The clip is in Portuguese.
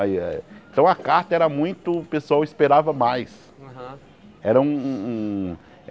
Aí eh então a carta era muito, o pessoal esperava mais. Aham Era um um um